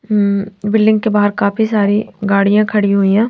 हम्म building के बाहर काफी सारी गाड़िया खड़ी हुयी है.